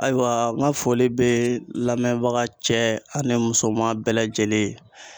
Ayiwa n ka foli bɛ lamɛnbaga cɛ ani musoman bɛɛ lajɛlen ye.